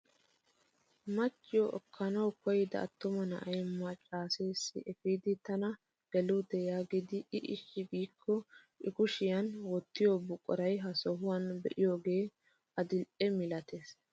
Machchiyoo ekkanawu koyida attuma na'ay maccasessi epiidi tana geelutee yaagidi i eshi giikko i kushshiyaan wottiyoo buquraa ha sohuwaan be'iyoogee adil'e milatees!